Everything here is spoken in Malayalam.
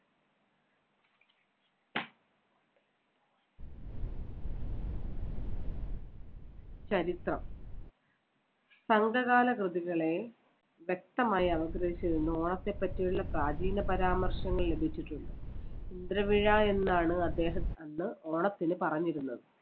ചരിത്രം. സംഘകാല കൃതികളെ വ്യക്തമായി അപഗ്രഥിച്ച് കൊണ്ട് ഓണത്തെപ്പറ്റിയുള്ള പ്രാചീന പരാമർശങ്ങൾ ലഭിച്ചിട്ടുണ്ട്. ഇന്ദ്രമിഴ എന്നാണ് അദ്ദേഹം അന്ന് ഓണത്തിന് പറഞ്ഞിരുന്നത്.